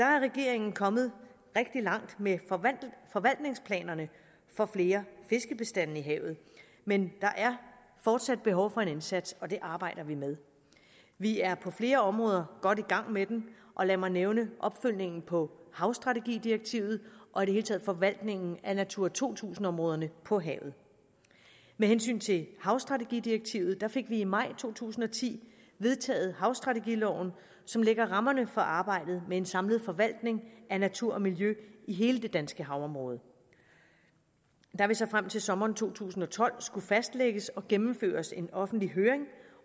regeringen kommet rigtig langt med forvaltningsplanerne for flere fiskebestande i havet men der er fortsat behov for en indsats og det arbejder vi med vi er på flere områder godt i gang med dem og lad mig nævne opfølgningen på havstrategidirektivet og i det hele taget forvaltningen af natura to tusind områderne på havet med hensyn til havstrategidirektivet fik vi i maj to tusind og ti vedtaget havstrategiloven som lægger rammerne for arbejdet med en samlet forvaltning af natur og miljø i hele det danske havområde der vil så frem til sommeren to tusind og tolv skulle fastlægges og gennemføres en offentlig høring